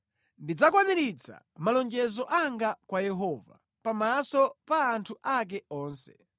Ndidzakwaniritsa malonjezo anga kwa Yehova pamaso pa anthu ake onse,